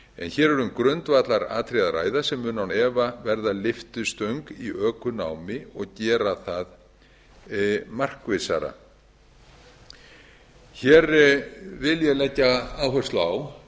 hér er um grundvallaratriði að ræða sem mun án efa verða lyftistöng í ökunám og gera það markvissara hér vil ég leggja áherslu á